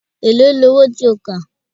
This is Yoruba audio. Èló ni owó tí ó kà?